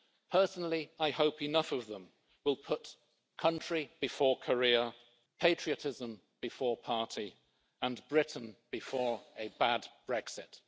Personally, I hope enough of them will put country before career, patriotism before party and Britain before a bad Brexit.